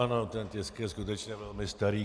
Ano, ten tisk je skutečně velmi starý.